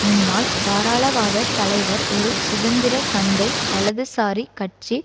முன்னாள் தாரளவாத தலைவர் ஒரு சுதந்திர சந்தை வலதுசாரி கட்சி